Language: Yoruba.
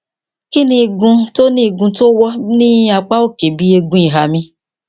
kí ni igun tó ni igun tó wọ ní apá òkè ibi eegun ìhà mi